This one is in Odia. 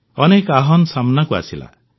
ଅନେକ ଆହ୍ୱାନ ସାମନାକୁ ଆସିଲା